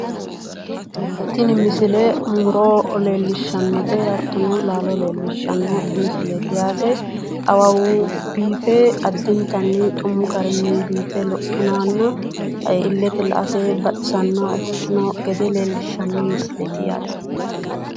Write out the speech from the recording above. Tini misile muro leellishshannote hattono laalo leellishshanno misileeti awawu biife addintanni xumu garinni biife lophinoha illete la"ate baxisannoha ikkino gede leellishshanno misileeti.